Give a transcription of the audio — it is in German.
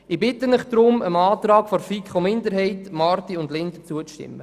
Ich bitte Sie deshalb, dem Antrag der FiKo-Minderheit/Marti/Linder zuzustimmen.